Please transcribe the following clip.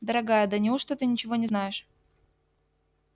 дорогая да неужто ты ничего не знаешь